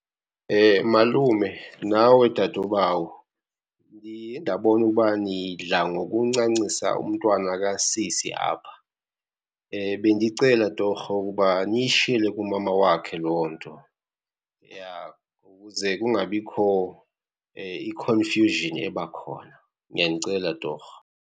Malume nawe dadobawo, ndiye ndabona ukuba nidla ngokuncancisa umntwana kasisi apha. Bendicela torho ukuba niyishiyele kumama wakhe loo nto, ja ukuze kungabikho i-confusion ebakhona, ndiyanicela torho.